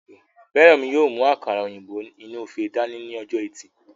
Fẹ́rànmi yóò mú àkàrà òyìnbó inú ife dání ní ọjọ́ ẹtì